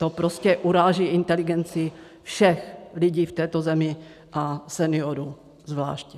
To prostě uráží inteligenci všech lidí v této zemi a seniorů zvláště.